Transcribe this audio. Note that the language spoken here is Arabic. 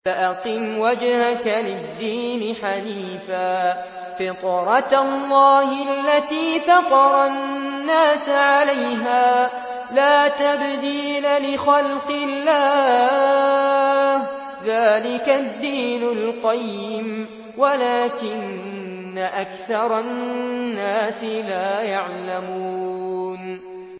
فَأَقِمْ وَجْهَكَ لِلدِّينِ حَنِيفًا ۚ فِطْرَتَ اللَّهِ الَّتِي فَطَرَ النَّاسَ عَلَيْهَا ۚ لَا تَبْدِيلَ لِخَلْقِ اللَّهِ ۚ ذَٰلِكَ الدِّينُ الْقَيِّمُ وَلَٰكِنَّ أَكْثَرَ النَّاسِ لَا يَعْلَمُونَ